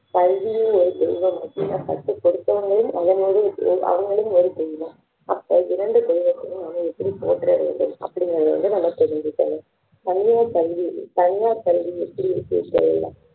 கல்வியே ஒரு தெய்வம் அப்படினா கத்து கொடுத்தவங்களும் அதே மாதிரி அவங்களும் ஒரு தெய்வம் அப்போ இரண்டு தெய்வத்தையும் நம்ம எப்படி போற்ற வேண்டும் அப்படிங்கிறது வந்து நாம தெரிஞ்சுக்கணும் தனியார் கல்வி தனியார் கல்வி எப்படி இருக்குன்னு தெரியும்